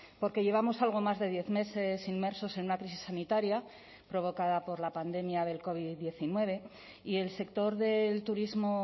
porque llevamos algo más de diez meses inmersos en una crisis sanitaria provocada por la pandemia del covid diecinueve y el sector del turismo